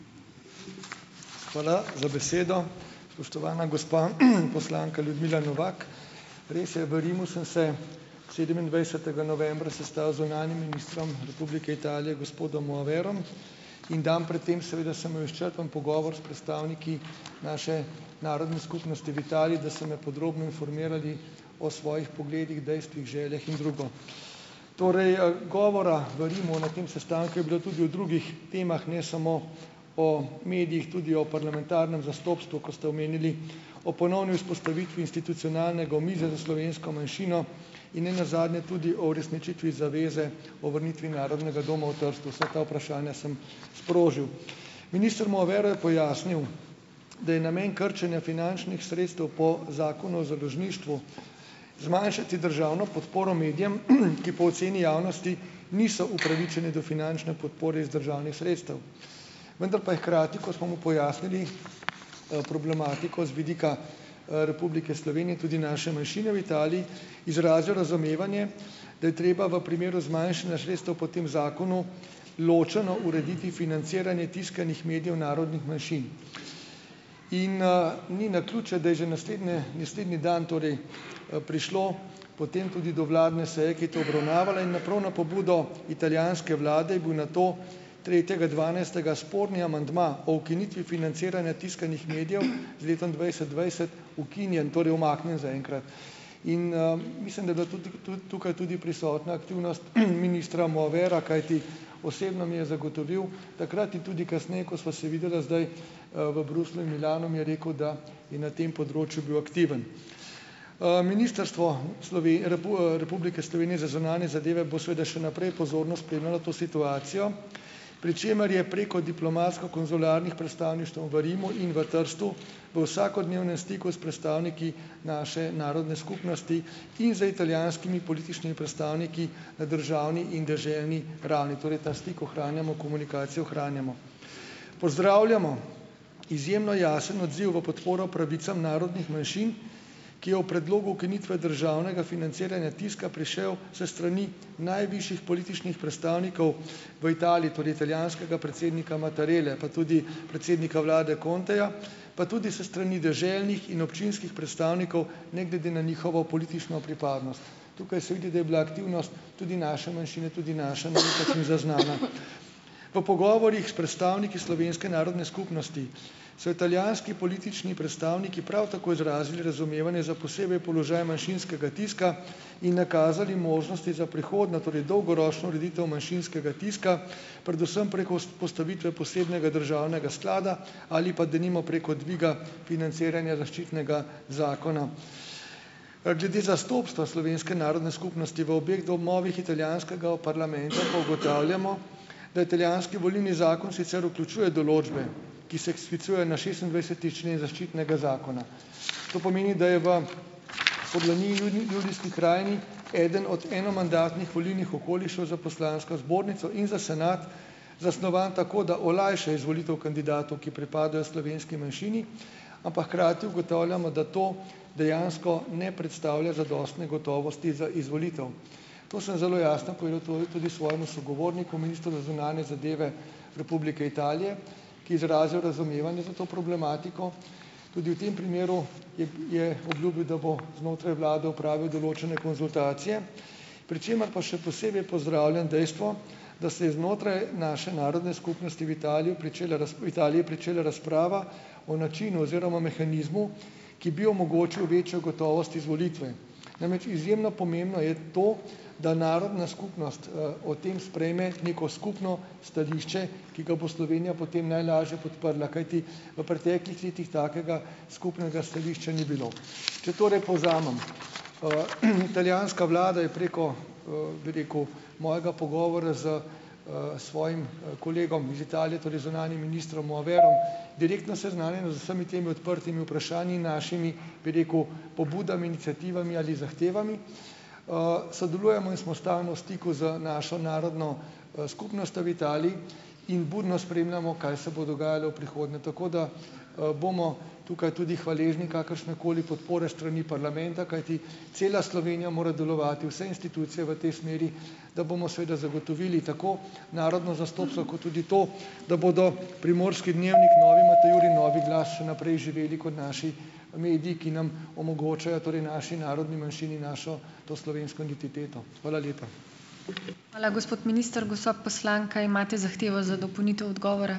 Hvala za besedo. Spoštovana gospa, poslanka Ljudmila Novak. Res je, v Rimu sem se sedemindvajsetega novembra sestal z zunanjim ministrom Republike Italije gospodom Moaverom in dan pred tem seveda sem imel izčrpen pogovor s predstavniki naše narodne skupnosti v Italiji, da so me podrobno informirali o svojih pogledih, dejstvih, željah in drugo. Torej, govora v Rimu na tem sestanku je bilo tudi o drugih temah, ne samo o medijih, tudi o parlamentarnem zastopstvu, ko ste omenili, o ponovni vzpostavitvi institucionalnega omizja za slovensko manjšino in nenazadnje tudi o uresničitvi zaveze o vrnitvi Narodnega doma v Trstu. Vsa ta vprašanja sem sprožil. Minister Moavero je pojasnil, da je namen krčenja finančnih sredstev po Zakonu o založništvu zmanjšati državno podporo medijem, ki po oceni javnosti niso upravičeni do finančne podpore iz državnih sredstev. Vendar pa je hkrati, ko smo mu pojasnili, problematiko z vidika, Republike Slovenije, tudi naše manjšine v Italiji, izrazil razumevanje, da je treba v primeru zmanjšanja sredstev po tem zakonu ločeno urediti financiranje tiskanih medijev narodnih manjšin. In, ni naključje, da je že naslednje naslednji dan torej, prišlo potem tudi do vladne seje, ki je to obravnavala, in na prav na pobudo italijanske vlade je bil nato tretjega dvanajstega sporni amandma o ukinitvi financiranja tiskanih medijev z letom dvajset dvajset ukinjen, torej umaknjen zaenkrat. In, mislim, da je bila tudi tudi tukaj tudi prisotna aktivnost, ministra Moavera, kajti osebno mi je zagotovil takrat in tudi kasneje, ko sva se videla zdaj, v Bruslju in Milanu, mi je rekel, da je na tem področju bil aktiven. Ministrstvo Republike Slovenije za zunanje zadeve bo seveda še naprej pozorno spremljalo to situacijo. Pri čemer je preko diplomatsko-konzularnih predstavništev v Rimu in v Trstu v vsakodnevnem stiku s predstavniki naše narodne skupnosti in z italijanskimi političnimi predstavniki na državni in deželni ravni. Torej ta stik ohranjamo, komunikacijo ohranjamo. Pozdravljamo izjemno jasen odziv v podporo pravicam narodnih manjšin, ki je ob predlogu ukinitve državnega financiranja tiska prišel s strani najvišjih političnih predstavnikov v Italiji, torej italijanskega predsednika Mattarelle pa tudi predsednika vlade Conteja pa tudi s strani deželnih in občinskih predstavnikov, ne glede na njihovo politično pripadnost. Tukaj se vidi, da je bila aktivnost tudi naše manjšine, tudi naše malenkosti zaznana. V pogovorih s predstavniki slovenske narodne skupnosti so italijanski politični predstavniki prav tako izrazili razumevanje za posebej položaj manjšinskega tiska in nakazali možnosti za prihodnjo, torej dolgoročno ureditev manjšinskega tiska, predvsem preko postavitve posebnega državnega sklada ali pa denimo preko dviga financiranja zaščitnega zakona. Glede zastopstva slovenske narodne skupnosti v obeh domovih italijanskega parlamenta pa ugotavljamo, da italijanski volilni zakon sicer vključuje določbe, ki se sklicujejo na šestindvajseti člen Zaščitnega zakona. To pomeni, da je v Furlaniji - Julijski krajini, eden od eno mandatnih volilnih okolišev za poslansko zbornico in za senat zasnovan tako, da olajša izvolitev kandidatu, ki pripada slovenski manjšini, ampak hkrati ugotavljamo, da to dejansko ne predstavlja zadostne gotovosti za izvolitev. To sem zelo jasno povedal tole tudi svojemu sogovorniku, ministru za zunanje zadeve Republike Italije, ki je izrazil razumevanje za to problematiko. Tudi v tem primeru je je obljubil, da bo znotraj vlade opravil določene konzultacije, pri čemer pa še posebej pozdravljam dejstvo, da se je znotraj naše narodne skupnosti v Italiji pričela v Italiji pričela razprava o načinu oziroma mehanizmu, ki bi omogočil večjo gotovost izvolitve. Namreč, izjemno pomembno je to, da narodna skupnost, o tem sprejme neko skupno stališče, ki ga bo Slovenija potem najlažje podprla, kajti v preteklih letih takega skupnega stališča ni bilo. Če torej povzamem, italijanska vlada je preko, bi rekel, mojega pogovora s, svojim, kolegom iz Italije, torej zunanjim ministrom Moaverom direktno seznanjena z vsemi temi odprtimi vprašanji, našimi, bi rekel, pobudami, iniciativami ali zahtevami, sodelujemo in smo stalno v stiku z našo narodno, skupnostjo v Italiji in budno spremljamo, kaj se bo dogajalo v prihodnje, tako da, bomo tukaj tudi hvaležni kakršne koli podpore s strani parlamenta, kajti cela Slovenija mora delovati, vse institucije, v tej smeri, da bomo seveda zagotovili tako narodno zastopstvo kot tudi to, da bodo Primorski dnevnik, Novi Matajur in Novi glas še naprej živeli kot naši mediji, ki nam omogočajo, torej naši narodni manjšini, našo, to slovensko identiteto. Hvala lepa.